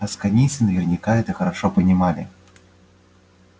асконийцы наверняка это хорошо понимали